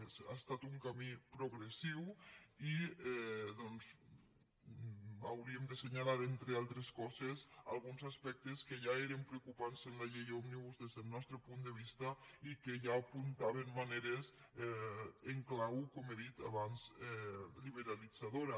ha estat un camí progressiu i hauríem d’assenyalar entre altres coses alguns aspectes que ja eren preocupants en la llei òmnibus des del nostre punt de vista i que ja apuntaven maneres en clau com he dit abans liberalitzadora